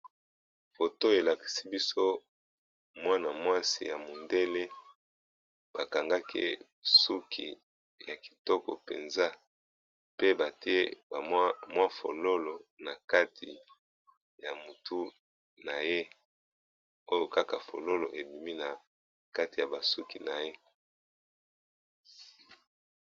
Foto oyo elakisi biso mwana mwasi ya mondele ba kangaki ye suki ya kitoko mpenza. Pe batie ba mwa fololo na kati ya motu na ye, oyo kaka fololo ebimi na kati ya ba suki na ye.